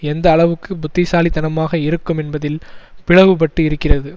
எந்த அளவுக்கு புத்திசாலித்தனமாக இருக்கும் என்பதில் பிளவுபட்டு இருக்கிறது